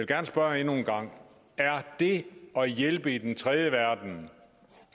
gerne spørge endnu en gang er det at hjælpe i tredjeverdenen